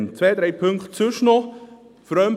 Ich habe sonst noch zwei, drei Punkte.